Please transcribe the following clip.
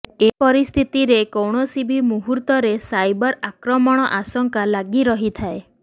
ଏପରିସ୍ଥରେ କୌଣସି ବି ମୁହୂର୍ତ୍ତରେ ସାଇବର ଆକ୍ରମଣର ଆଶଙ୍କା ଲାଗି ରହିଥାଏ